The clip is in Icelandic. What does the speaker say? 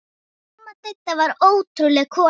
Amma Didda var ótrúleg kona.